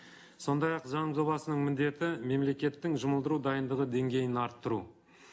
сондай ақ заң жобасының міндеті мемлекеттің жұмылдыру дайындығы деңгейін арттыру